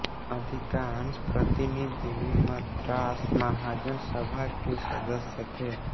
अधिकांश प्रतिनिधि मद्रास महाजन सभा के सदस्य थे